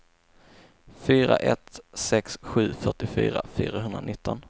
fyra ett sex sju fyrtiofyra fyrahundranitton